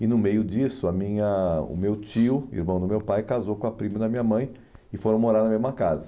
E no meio disso a minha ah o meu tio, irmão do meu pai, casou com a prima da minha mãe e foram morar na mesma casa.